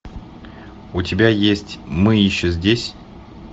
у тебя есть мы еще здесь